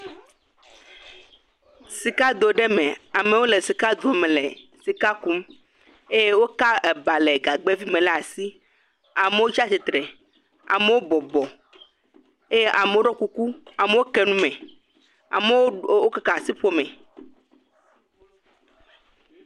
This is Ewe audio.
Sikado aɖe me, amewo sikado me le sika kum eye woka ba le gagbɛvi me lé ɖe asi. Amewo tsi atsitre, amewo bɔbɔ eye amewo ɖɔ kuku, amewo ke nu me, amewo keke asiƒome.